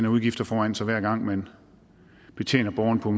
udgifter foran sig hver gang man betjener borgerne på